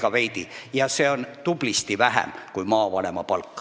Ja talituse juhi palk on tublisti väiksem kui maavanema palk.